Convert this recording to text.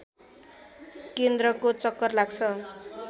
केन्द्रको चक्कर लाग्छ